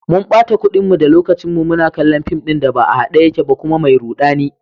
Mun bata kudinmu da lokacinmu muna kallon fim ɗin da ba a hade yake ba kuma mai rudani.